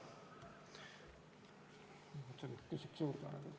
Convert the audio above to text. Ma küsiks aega juurde.